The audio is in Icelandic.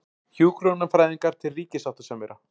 Hjúkrunarfræðingar til ríkissáttasemjara